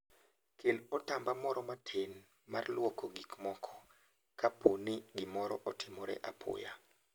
Kel otamba moro matin mar lwoko gik moko kapo ni gimoro otimore apoya.